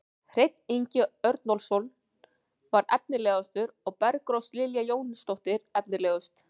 Hreinn Ingi Örnólfsson var efnilegastur og Bergrós Lilja Jónsdóttir efnilegust.